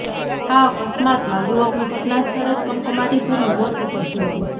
આ અકસ્માતમાં યુવકનું ઘટના સ્થળે જ કમકમાટી ભર્યુ મોત નિપજ્યું હતું